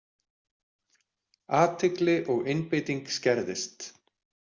Athygli og einbeiting skerðist.